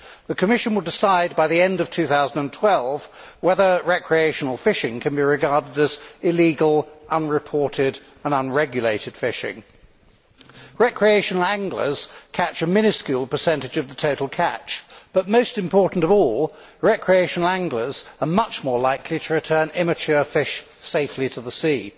The Commission will decide by the end of 2012 whether recreational fishing can be regarded as illegal, unreported and unregulated fishing. Recreational anglers catch a minuscule percentage of the total catch but, most important of all, recreational anglers are much more likely to return immature fish safely to the sea.